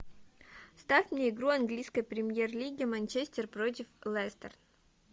ставь мне игру английской премьер лиги манчестер против лестер